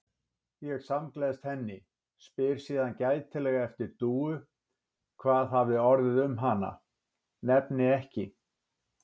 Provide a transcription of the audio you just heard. Ég samgleðst henni, spyr síðan gætilega eftir Dúu, hvað hafi orðið um hana, nefni ekki